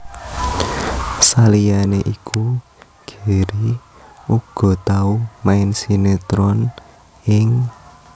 Saliyané iku Gary uga tau main sinetron ing